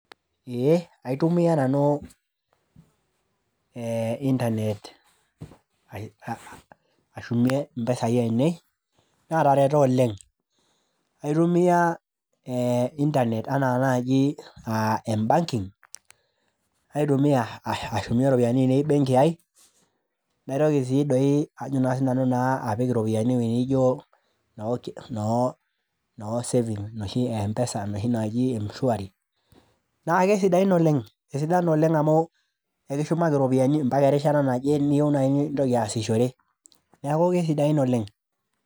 Ee aitomiya nanu ee internet ashumie impisai ainei naatareto oleng', aitumiya internet anaa naaiji embankink, naitumiya ashumie iropiyiani benki ai naitoki sii doi ajo naa sinanu naa apik iropiyiani ewoji nijo noo savings e mpesa enoshi naji mshwari naa kesidain oleng',sidan oleng' amu, ekishumaki iropiyiani ambaka erishata naje niyieu naaji nintoki aasishore. Neeku kesidain oleng'.